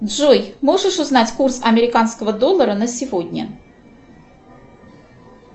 джой можешь узнать курс американского доллара на сегодня